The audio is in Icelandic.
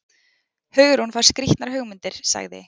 Hugrún fær skrýtnar hugmyndir- sagði